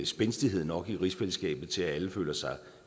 spændstighed nok i rigsfællesskabet til at alle føler sig